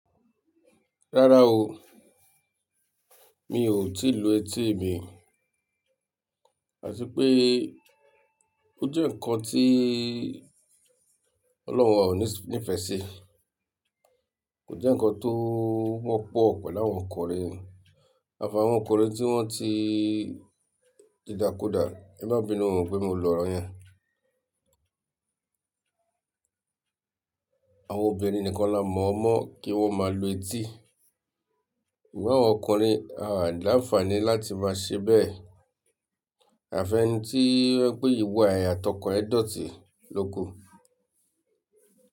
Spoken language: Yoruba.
Rárá o, mi ò tíì lu etí mi, àtí peé ó jẹ́ ǹkan tí Ọlọ́run wà o ní fẹ́ ṣi. Kò jẹ́ ǹkan tó wọ́pọ̀ pẹ̀lú àwọn ọkùnrin, àfààwọn ọkùnrin tí wọ́n ti didakuda, ẹ má bínú oo pé mo lọ̀rọ̀ yẹn. Àwọn obìnrin nìkan la mọ̀o mọ́ kí wọ́n máa lu etí. Ṣùgbọ́n àwọn ọkùnrin a làǹfààní láti máa ṣe bẹ́ẹ̀. Àfẹ́ni tí o je pé ìwà ẹ̀ a'tọkàn e dọ̀tí lo ku.